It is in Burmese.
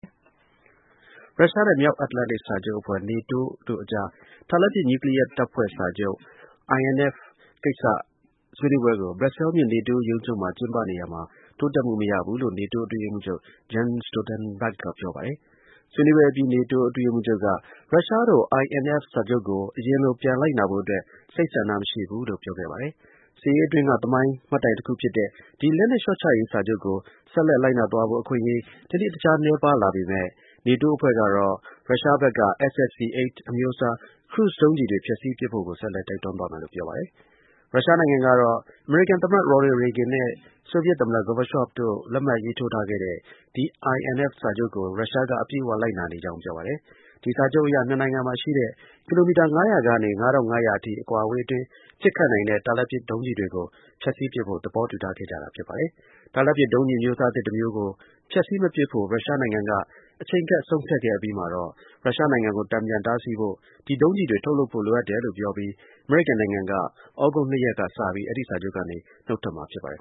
ရုရှားနဲ့ မြောက်အတ္တလန်တိတ် စာချုပ်အဖွဲ့ NATO တို့ အကြား တာလတ်ပစ် နျူးကလီးယားတပ်ဖွဲ့ စာချုပ် (Intermediate-range Nuclear Forces Treaty – INF) ကိစ္စ ဆွေးနွေးပွဲကို ဘရပ်ဆဲလ်မြို့ NATO ရုံးချုပ်မှာ ကျင်းပနေရာမှာ တိုးတက်မှု မရဘူးလို့ NATO အတွင်းရေးမှူးချုပ် Jens Stoltenberg က ပြောပါတယ်။ ဆွေးနွေးပွဲအပြီး နေတိုး အတွင်းရေးမှူးချုပ်က ရုရှားတို့ INF စာချုပ်ကို အရင်လို ပြန်လိုက်နာဖို့အတွက် စိတ်ဆန္ဒ မရှိဘူးလို့ ပြောခဲ့တာပါ။ စစ်အေးအတွင်းက သမိုင်း မှတ်တိုင် တခု ဖြစ်တဲ့ ဒီ လက်နက် လျှော့ချရေး စာချုပ်ကို ဆက်လက် လိုက်နာသွားဖို့ အခွင့်အရေး တနေ့တစ်ခြား နည်းပါးလာနေပေမဲ့ NATO အဖွဲ့ကတော့ ရုရှားဘက်က SSC-8 အမျိုးအစား ခရုစ် ဒုံးကျည်တွေ ဖျက်ဆီးပစ်ဖို့ ကို ဆက်လက် တိုက်တွန်းသွားမယ်လို့ ပြောပါတယ်။ ရုရှားနိုင်ငံကတော့ အမေရိကန် သမ္မတ Ronald Reagan နဲ့ ဆိုဗီယက် သမ္မတ Gorbachev တို့ လက်မှတ်ရေးထိုးထားတဲ့ ဒီ INF စာချုပ်ကို ရှရှားက အပြည့်အဝလိုက်နာနေကြောင်း ပြောပါတယ်။ ဒီ စာချုပ်အရ နှစ်နိုင်ငံမှာ ရှိတဲ့ ကီလီမီတာ ၅၀၀ ကနေ ၅၅၀၀ အထိ အကွာအဝေးအတွင်း ပစ်ခတ်နိုင်တဲ့ တာလတ်ပစ် ဒုံးကျည်တွေကို ဖျက်ဆီး ပစ်ဖို့ သဘောတူထားခဲ့တာပါ။ တာလတ်ပစ် ဒုံးကျည် အမျိုးအစား သစ်တစ်မျိုးကို ဖျက်ဆီး မပစ်ဖို့ ရုရှားနိုင်ငံက အချိန်ကပ် ဆုံးဖြတ်ခဲ့အပြီးမှာ ရုရှားနိုင်ငံကို တန်ပြန် တားဆီးဖို့ ဒီ ဒုံးကျည်တွေ ထုတ်လုပ်ဖို့ လိုအပ်တယ်လို့ ပြောပြီး အမေရိကန်နိုင်ငံက သြဂုတ်လ ၂ ရက်နေ့က စပြီး အဲဒီ စာချုပ်ကနေ နုတ်ထွက်မှာ ဖြစ်ပါတယ်